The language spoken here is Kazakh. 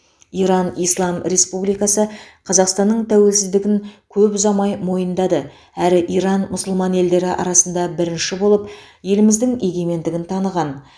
иран ислам республикасы қазақстанның тәуелсіздігін көп ұзамай мойындады әрі иран мұсылман елдері арасында бірінші болып еліміздің егемендігін таныған